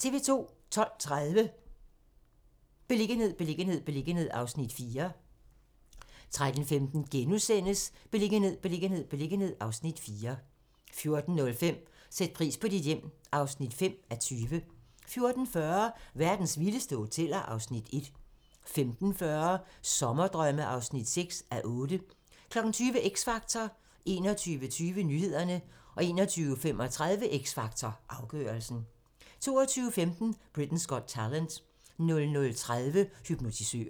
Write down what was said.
12:30: Beliggenhed, beliggenhed, beliggenhed (Afs. 4) 13:15: Beliggenhed, beliggenhed, beliggenhed (Afs. 4)* 14:05: Sæt pris på dit hjem (5:20) 14:40: Verdens vildeste hoteller (Afs. 1) 15:40: Sommerdrømme (6:8) 20:00: X Factor 21:20: Nyhederne 21:35: X Factor - afgørelsen 22:15: Britain's Got Talent 00:30: Hypnotisøren